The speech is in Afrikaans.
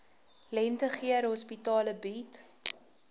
lentegeur hospitale bied